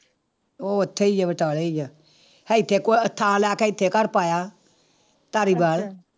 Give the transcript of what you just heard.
ਉਹ ਉੱਥੇ ਹੀ ਆ ਬਟਾਲੇ ਹੀ ਆ, ਇੱਥੇ ਕੁ ਥਾਂ ਲੈ ਕੇ ਇੱਥੇ ਘਰ ਪਾਇਆ ਧਾਰੀਵਾਲ